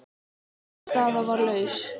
Ein staða var laus.